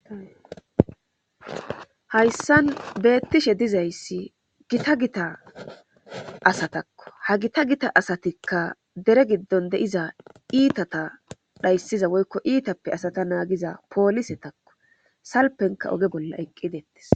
Hayssan beettishe dizayssi gita gita asatakko ha gita gita asatikka dere giddon de'iza iitata dhayssiza woykko iitappe asata naagiza poolise takko salpenka oge bolla eqqidettes.